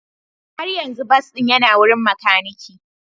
Har yanzu bas ɗin yana wurin makaniki.